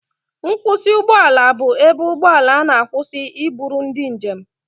Nkwusị ụgbọ ala bụ ebe ụgbọ ala na-akwụsị iburu ndị njem.